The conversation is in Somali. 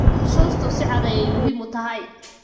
Xusuustu si cad ayay muhiim u tahay.